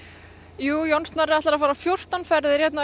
John Snorri ætlar fjórtán ferðir